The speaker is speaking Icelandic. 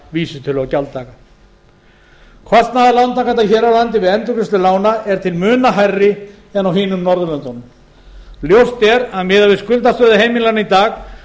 vísitölu á gjalddaga kostnaður lántakenda hér á landi við endurgreiðslu lána er til muna hærri en annars staðar á norðurlöndunum ljóst er miðað við skuldastöðu heimilanna í dag